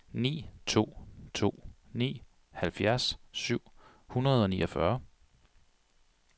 ni to to ni halvfjerds syv hundrede og niogfyrre